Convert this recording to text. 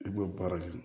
I b'o baara kɛ